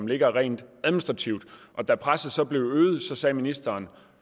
ligger rent administrativt da presset så blev øget sagde ministeren